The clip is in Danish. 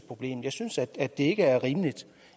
jeg synes det ikke er rimeligt